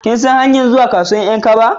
Kin san hanyar zuwa kasuwan 'yan kaba?